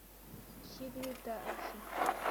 секретарши